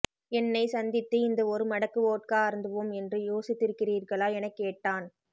என்னை சந்தித்து இந்த ஒரு மடக்கு வோட்கா அருந்துவோம் என்று யோசித்திருக்கிறீர்களா எனக்கேட்டான்